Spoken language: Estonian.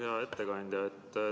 Hea ettekandja!